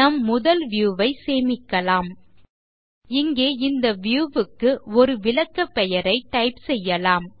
நம் முதல் வியூ ஐ சேமிக்கலாம் இங்கே இந்த வியூ க்கு ஒரு விளக்க பெயரை டைப் செய்யலாம்